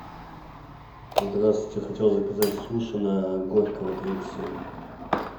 здравствуйте я хотел заказать суши на горького тридцать семь